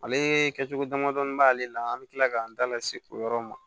Ale kɛcogo damadɔnin b'ale la an bɛ tila k'an da lase o yɔrɔ ma